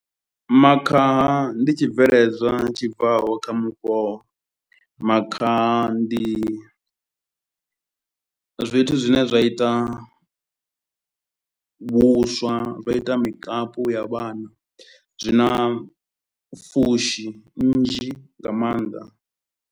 Makhaha ndi tshibveledzwa tshi bvaho kha mufhoho, makhaha ndi zwithu zwine zwa ita vhuswa, zwa ita mikapu ya vhana zwi na fushi nnzhi nga maanḓa.